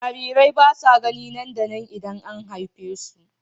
Jarirai ba sa gani nan da nan idan an haife su.